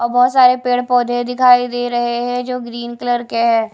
और बहोत सारे पेड़ पोधै दिखाइ दे रहे है जो ग्रीन कलर है।